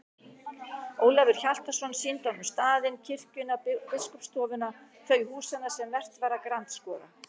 Ólafur Hjaltason sýndi honum staðinn, kirkjuna, biskupsstofuna, þau húsanna sem vert var að grandskoða.